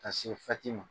Ka se ma